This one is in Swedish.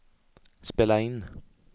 spela in